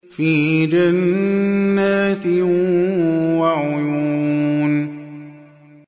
فِي جَنَّاتٍ وَعُيُونٍ